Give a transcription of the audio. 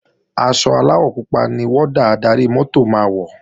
Aṣọ aláwọ̀ pupa ni wọ́dà adarí-mọ́tò máa wọ̀